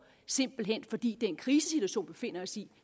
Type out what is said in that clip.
simpelt hen fordi den krisesituation vi befinder os i